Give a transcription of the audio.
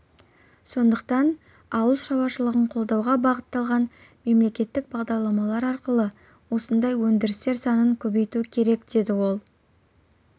сондықтан ауыл шарушылығын қолдауға бағытталған мемлекеттік бағдарламалар арқылы осындай өндірістер санын көбейту керекдеді ол